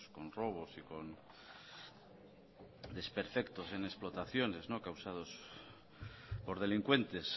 con robos y con desperfectos en explotaciones causados por delincuentes